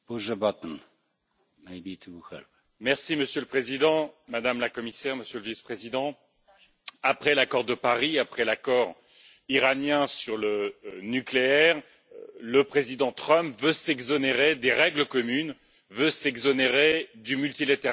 Monsieur le Président, Madame la Commissaire, Monsieur le Vice Président, après l'accord de Paris, après l'accord iranien sur le nucléaire, le président Trump veut s'exonérer des règles communes, veut s'exonérer du multilatéralisme et c'est un danger pour nous tous.